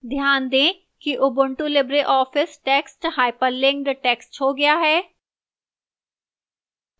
ध्यान दें कि ubuntu libreoffice text hyperlinked text हो गया है